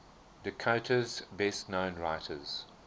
dakota's best known writers